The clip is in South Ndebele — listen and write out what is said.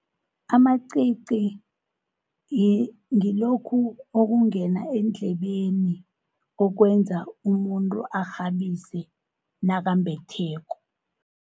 Amacici ngilokhu okungena eendlebeni, okwenza umuntu akghabise nakambetheko.